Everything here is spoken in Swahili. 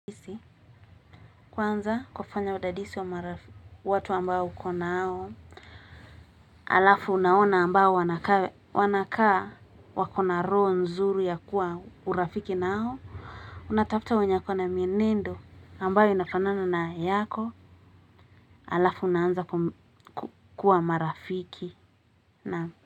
Kwanza kufanya udadisi wa watu ambao ukonao halafu unaona ambao wanakaa wakona roho nzuri ya kuwa urafiki nao. Unatafuta wenye akona mienendo ambayo inafanana na yako halafu unaanza kuwa marafiki.